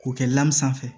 K'o kɛ sanfɛ